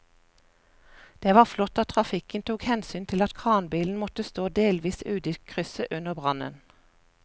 Det var flott at trafikken tok hensyn til at kranbilen måtte stå delvis ute i krysset under brannen.